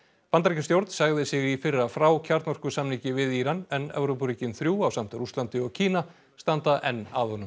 Bandaríkjastjórn sagði sig í fyrra frá við Íran en Evrópuríkin þrjú ásamt Rússlandi og Kína standa enn að honum